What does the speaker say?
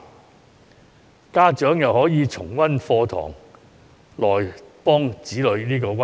此外，家長亦可以重溫課堂內容，幫助子女溫習。